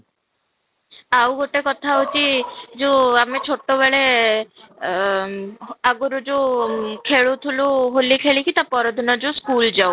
ଆଉ ଗୋଟେ କଥା ହଉଛି ଯୋଉ ଆମେ ଛୋଟ ବେଳେ ଏ ଆଗରୁ ଯୋଉ ଖେଳୁଥିଲୁ ହୋଲି ଖେଳିକି ତା ପର ଦିନ ଯୋଉ school ଯାଉ